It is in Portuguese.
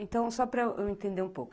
Então, só para eu entender um pouco.